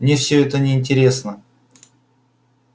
мне всё это неинтересно